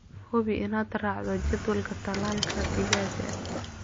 Hubi inaad raacdo jadwalka tallaalka digaagga.